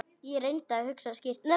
Ég reyndi að hugsa skýrt.